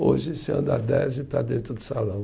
Hoje, você anda dez e está dentro do salão.